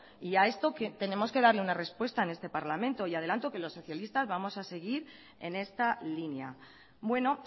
y a esto tenemos que darle una respuesta en este parlamento y adelanto que los socialistas vamos a seguir en esta línea bueno